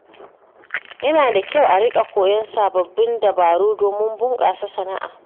Yana da kyau a riƙa koyan sababbin dabaru domin bunƙasa sana’a.